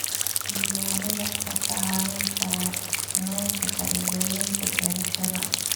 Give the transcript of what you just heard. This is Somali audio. Diiwaanada ayaa kaa caawin kara qiimaynta faa'iidooyinka beerashada.